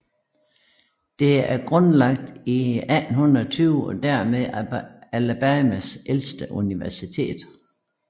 Det er grundlagt i 1820 og dermed Alabamas ældste universitet